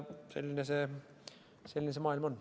Selline see maailm on.